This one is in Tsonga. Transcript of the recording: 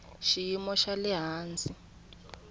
xiyimo xa le hansi xa